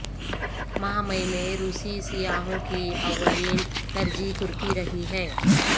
ماہ مئی میں روسی سیاحوں کی اولین ترجیح ترکی رہی ہے